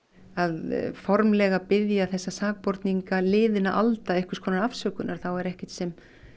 að formlega biðja þessa sakborninga alda einhvers konar afsökunar þá er ekkert sem